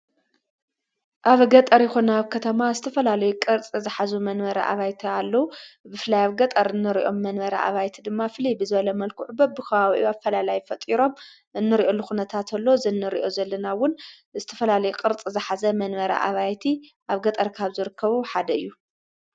ኣብገጠሪኹ ና ኣብ ከተማ ስተፈላልይ ቕርጽ ዝኃዙ መንበረ ዓባይቲ ኣለዉ ብፍላይ ኣብ ገጠር እኖርእኦም መንበረ ኣባይቲ ድማ ፍልብዘለ መልኩዕ በ ብኸዋዊኡ ኣ ፈላላይ ፈጢሮም እኑርእኦ ልኹነታ እተሎ ዘንርእዮ ዘለናውን እስትፈላልይ ቕርጽ ዝኃዘ መንበረ ዓባይቲ ኣብ ገጠርካኣብ ዘርከቡ ሓደ እዩ።